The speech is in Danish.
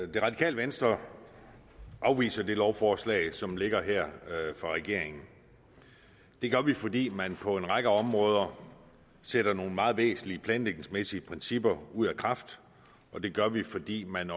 det radikale venstre afviser det lovforslag som ligger her fra regeringen vi gør det fordi man på en række områder sætter nogle meget væsentlige planlægningsmæssige principper ud af kraft og vi gør det fordi man